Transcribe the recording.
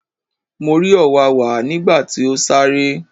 Mo rí òwáwá nígbà tí ó sáré.